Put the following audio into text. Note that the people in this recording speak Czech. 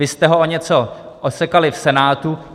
Vy jste ho o něco osekali v Senátu.